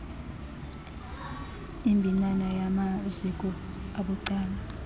imbinana yamaziko abucala